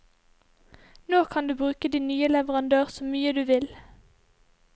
Nå kan du bruke din nye leverandør så mye du vil.